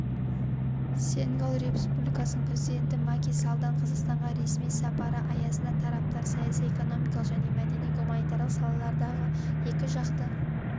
сенегал республикасының президенті маки саллдың қазақстанға ресми сапары аясында тараптар саяси экономикалық және мәдени-гуманитарлық салалардағы екіжақты